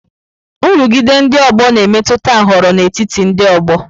Nrụgide ndị ọgbọ na-emetụta nhọrọ n'etiti ndị ọgbọ.